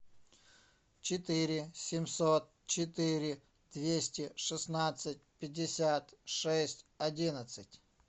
четыре семьсот четыре двести шестнадцать пятьдесят шесть одиннадцать